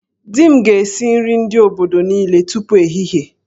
Di m ga-esi nri ndị obodo niile tupu ehihie